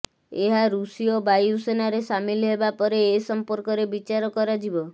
ଏହା ଋଷୀୟ ବାୟୁସେନାରେ ସାମିଲ ହେବା ପରେ ଏ ସଂପର୍କରେ ବିଚାର କରାଯିବ